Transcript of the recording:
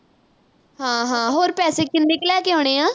ਹਾਂ-ਹਾਂ, ਹੋਰ ਪੈਸੇ ਕਿੰਨੇ ਕੁ ਲੈ ਕੇ ਆਉਣੇ ਆ?